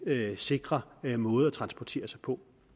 sikre måde at transportere sig på